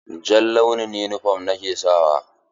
Jan launin yunifom ni ke sawa.